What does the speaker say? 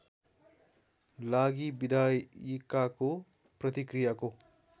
लागि विधायिकाको प्रतिक्रियाको